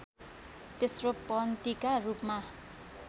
तेस्रो पत्नीका रूपमा